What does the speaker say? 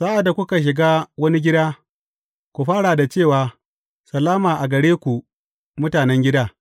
Sa’ad da kuka shiga wani gida, ku fara da cewa, Salama a gare ku mutanen gida.’